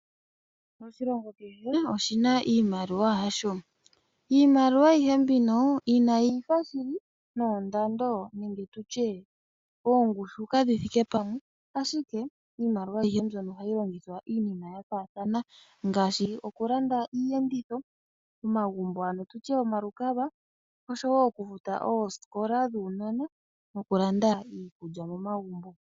Oshilongo kehe oshi na iimaliwa yasho. Iimaliwa ayihe mbino inayi ifa shili noondando nenge tu tye ongushu kadhi thike pamwe, ashike iimaliwa ayihe mbyono ohayi longithwa iinima ya faathana ngaashi okulanda iiyendithi, omagumbo ano tu tye omalukalwa, okufuta oosikola dhuunona nokulanda iikulya momagumbo.